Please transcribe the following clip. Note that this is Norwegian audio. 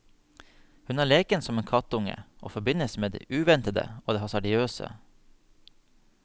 Hun er leken som en kattunge og forbindes med det uventede og det hasardiøse.